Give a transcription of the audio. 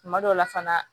Kuma dɔw la fana